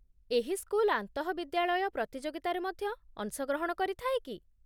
ଏହି ସ୍କୁଲ ଆନ୍ତଃବିଦ୍ୟାଳୟ ପ୍ରତିଯୋଗିତାରେ ମଧ୍ୟ ଅଂଶଗ୍ରହଣ କରିଥାଏ କି?